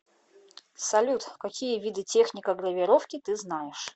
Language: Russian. салют какие виды техника гравировки ты знаешь